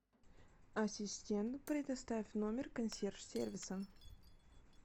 ассистент предоставь номер консьерж сервиса